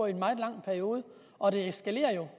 i en meget lang periode og det eskalerer jo